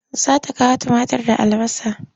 Za ta kawo tumatir da albasa.